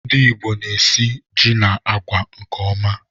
Ndị ìgbo na esị jị na àgwà nke ọma